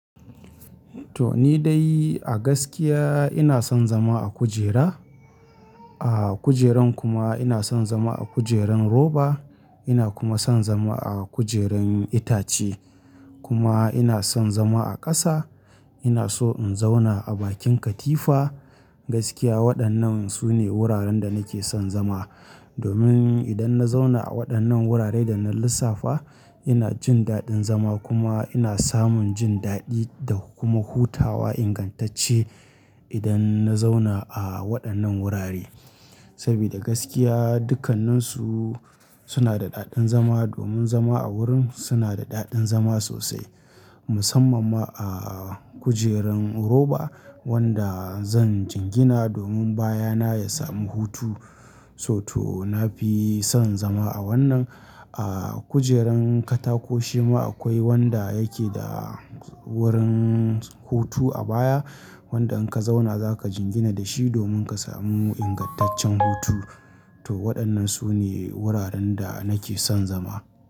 To ni dai a gaskiya ina son zama a kujera. A kujeran kuma ina son zama a kujeran roba. Ina kuma son zama a kujeran itace. Kuma ina son zama a ƙasa. Ina so in zauna a bakin katifa. Gaskiya waɗannan su ne wuraren da nake son zama. Domin idan na zauna a waɗannan wuraren da na lissafa, ina jin daɗin zama kuma ina samun jin daɗi da kuma hutawa ingantacce idan na zauna a waɗannan wurare. Saboda gaskiya dukkanninsu suna da daɗin zama domin zama a wurin suna da daɗin zama sosai. Musamman ma a kujeran roba wanda zan jingina domin baya na ya samu hutu. So to na fi son zama a wannan. A kujeran katako shi ma akwai wanda yake da wurin hutu a baya wanda in ka zauna za ka jingina da shi domin ka samu ingantaccen hutu. To waɗannan su ne wuraren da nake son zama.